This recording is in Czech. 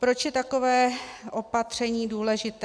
Proč je takové opatření důležité?